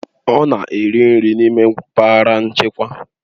Ọ na-eri nri n'ime mpaghara nchekwa